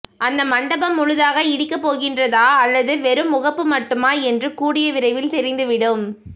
அந்த மண்டபம் முழுதாக இடிக்க போகின்றதா அல்லது வெரும் முகப்பு மட்டுமா என்று கூடிய விரைவில் தெரிந்து விடும்